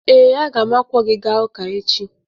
Ee, a ga m akwọ gị gaa ụka echi.